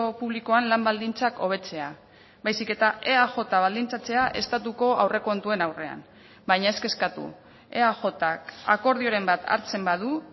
publikoan lan baldintzak hobetzea baizik eta eaj baldintzatzea estatuko aurrekontuen aurrean baina ez kezkatu eajk akordioren bat hartzen badu